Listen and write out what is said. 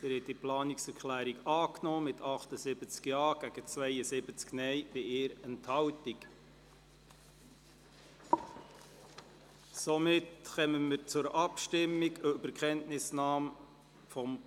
Sie haben die Planungserklärung angenommen, mit 78 Ja- zu 72 Nein-Stimmen bei 1 Enthaltung.